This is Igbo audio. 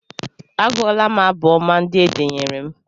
A gụọla m abụ ọma ndị e denyere m.